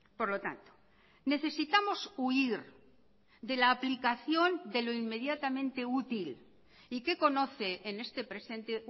por lo tanto necesitamos huir de la aplicación de lo inmediatamente útil y que conoce en este presente